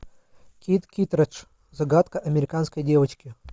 кит киттредж загадка американской девочки